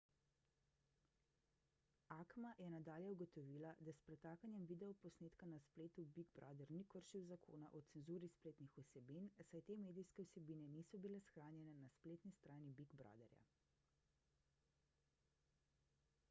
acma je nadalje ugotovila da s pretakanjem videoposnetka na spletu big brother ni kršil zakona o cenzuri spletnih vsebin saj te medijske vsebine niso bile shranjene na spletni strani big brotherja